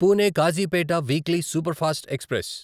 Pune Kazipet weekly superfast express